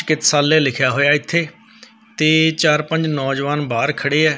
ਚਿਕਤਸਾਲਿਆ ਲਿਖਿਆ ਹੋਇਆ ਐ ਇੱਥੇ ਤੇ ਚਾਰ ਪੰਜ ਨੌਜਵਾਨ ਖੜੇ।